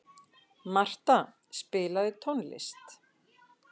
Marta, spilaðu tónlist.